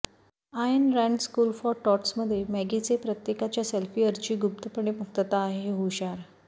ion Rand school for टॉट्समध्ये मॅगीचे प्रत्येकाच्या सल्फ़िअरची गुप्तपणे मुक्तता आहे हुशार